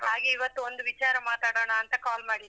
ಹಾಗೆ ಇವತ್ತು ಒಂದು ವಿಚಾರ ಮಾತಾಡೋಣಾಂತಾ call ಮಾಡಿದ್ದು.